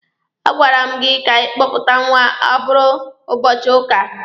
A gwara m gị ka ịkpọpụta nwa a bụrụ ụbọchị ụka!